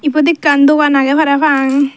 ibot ekkan dogan agey para pang.